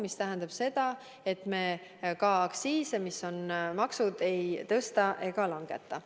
See tähendab seda, et me ka aktsiise, mis on maksud, ei tõsta ega langeta.